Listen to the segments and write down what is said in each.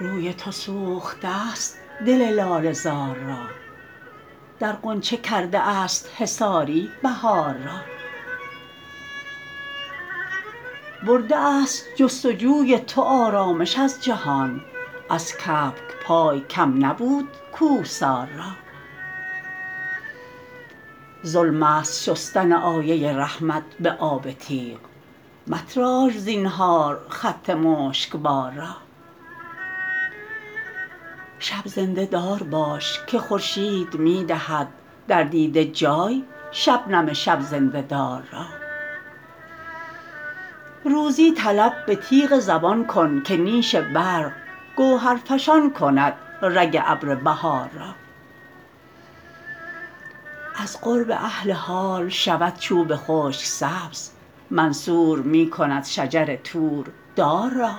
روی تو سوخته است دل لاله زار را در غنچه کرده است حصاری بهار را برده است جستجوی تو آرامش از جهان از کبک پای کم نبود کوهسار را ظلم است شستن آیه رحمت به آب تیغ متراش زینهار خط مشکبار را شب زنده دار باش که خورشید می دهد در دیده جای شبنم شب زنده دار را روزی طلب به تیغ زبان کن که نیش برق گوهر فشان کند رگ ابر بهار را از قرب اهل حال شود چوب خشک سبز منصور می کند شجر طور دار را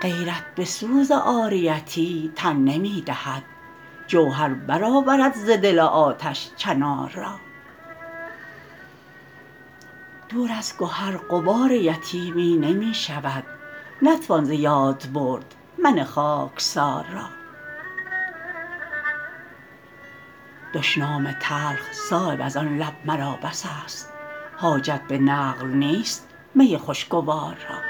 غیرت به سوز عاریتی تن نمی دهد جوهر برآورد ز دل آتش چنار را دور از گهر غبار یتیمی نمی شود نتوان ز یاد برد من خاکسار را دشنام تلخ صایب ازان لب مرا بس است حاجت به نقل نیست می خوشگوار را